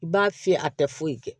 I b'a fiyɛ a tɛ foyi kɛ